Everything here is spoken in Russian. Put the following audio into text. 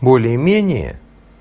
более менее